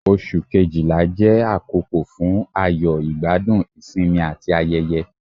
Ọ̀sù Kejìlá jẹ àkókò fún ayọ̀, igbadun, isinmi ati ayẹ̀yẹ̀,